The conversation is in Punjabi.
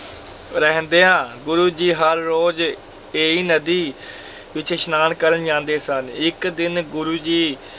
ਰਹਿੰਦਿਆਂ ਗੁਰੂ ਜੀ ਹਰ ਰੋਜ਼ ਇਹੀ ਨਦੀ ਵਿੱਚ ਇਸ਼ਨਾਨ ਕਰਨ ਜਾਂਦੇ ਸਨ, ਇੱਕ ਦਿਨ ਗੁਰੂ ਜੀ